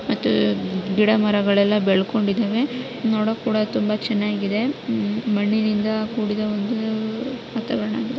ಮತ್ತು ಗಿಡ ಮರಗಳೆಲ್ಲ ಬೆಳಕೋಂಡಿದಾವೆ ನೋಡೊಕ್ಕೆ ಕೂಡ ಚನ್ನಾಗಿದೆ ಉ ಮಣ್ಣಿನಿಂದ ಕೂಡಿದ ಒಂದು ವಾತವಾರಣವಾಗಿದೆ.